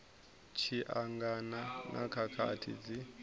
tshi angana na khakhathi dzi